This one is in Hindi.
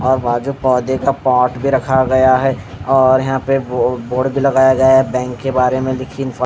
और बाजू पौधे का पॉट भी रखा गया हैं और यहाँ पे बोर्ड भी लगाया गया हैं बैंक के बारेमैं लिखी--